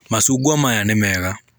Macungwa maya nĩ mega.